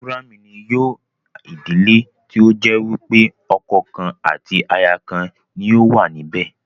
Mònógámì ni yóò ìdílé tí ó jẹ́ wípé ọkọ̀ kan àti aya kan ni ó wà níbẹ̀